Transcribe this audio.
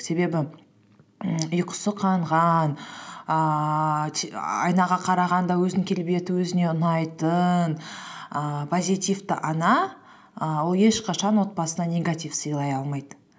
себебі м ұйқысы қанған ііі айнаға қарағанда өзінің келбеті өзіне ұнайтын ііі позитивті ана і ол ешқашан отбасына негатив сыйлай алмайды